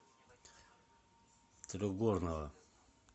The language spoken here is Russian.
трехгорного